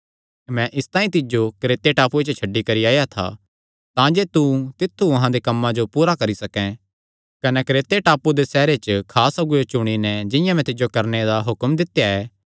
मैं इसतांई तिज्जो क्रेते टापूये च छड्डी करी आया था तांजे तू तित्थु अहां दे कम्मां जो पूरा करी सकैं कने क्रेते टापू दे हर सैहरे च खास अगुऐ चुणैं जिंआं मैं तिज्जो करणे दा हुक्म दित्या ऐ